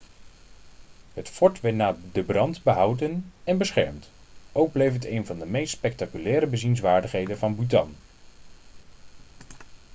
het fort werd na de brand behouden en beschermd ook bleef het een van de meest spectaculaire bezienswaardigheden van bhutan